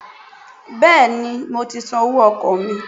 Béèni mo ti san owó ọkọ̀ mi